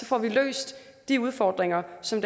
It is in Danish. få løst de udfordringer som